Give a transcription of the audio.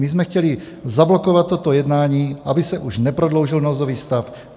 My jsme chtěli zablokovat toto jednání, aby se už neprodloužil nouzový stav.